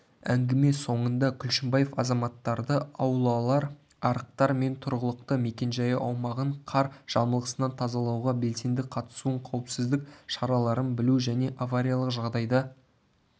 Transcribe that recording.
әңгіме соңында күлшімбаев азаматтарды аулалар арықтар мен тұрғылықты мекенжайы аумағын қар жамылғысынан тазалауға белсенді қатысуын қауіпсіздік шараларын білу және авариялық жағдайда